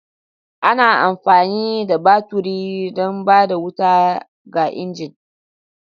Ana amfani da baturi don ba da wuta ga injin.